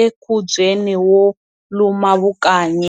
enkhubyeni wo luma vukanyi.